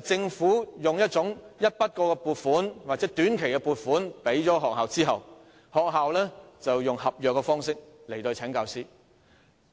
政府向學校提供一筆過撥款或短期撥款後，學校便以合約方式聘請教師，